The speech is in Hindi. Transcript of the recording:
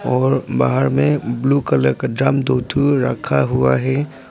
और बाहर में ब्लू कलर का ड्रम दो ठो रखा हुआ है।